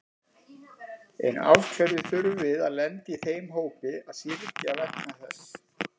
En af hverju þurfum við að lenda í þeim hópi að syrgja vegna þess?